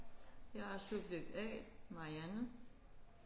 Jeg er subjekt A Marianne